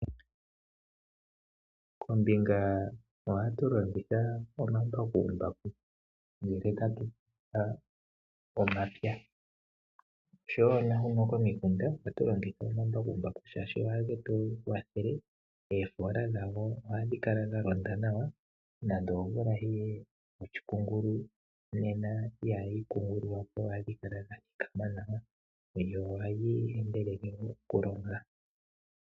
Kombinga ohatu longitha omambakumbaku ngele tatupulula omapya, oshowo naahuno komikunda ohatu longitha omambakumbaku shashi ohage tugwathele eefoola dhawo ohadhi kala dha londa nawa nando omvula yiye yoshikungulu nena ihadhi kungululwa po ohadhikala dhathikama nohadhi endelele mokulonga.